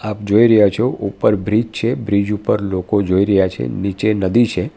આપ જોઈ રહ્યા છો ઉપર બ્રિજ છે બ્રિજ ઉપર લોકો જોઈ રહ્યા છે નીચે નદી છે.